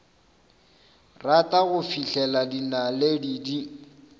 rata go fihlela dinaledi di